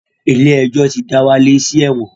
Ilé-ẹjọ̀ ti dá Wálé sí ẹ̀wọ̀n